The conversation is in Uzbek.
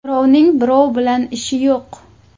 Birovning birov bilan ishi yo‘q.